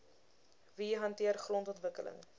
wie hanteer grondontwikkeling